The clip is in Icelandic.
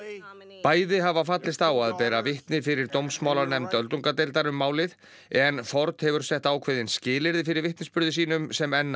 bæði hafa fallist á að bera vitni fyrir dómsmálanefnd öldungadeildar um málið en Ford hefur sett ákveðin skilyrði fyrir vitnisburði sínum sem enn á